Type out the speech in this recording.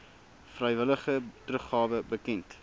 vrywillige teruggawe bekend